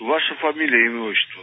ваша фамилия имя отчество